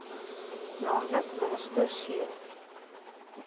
nl minister c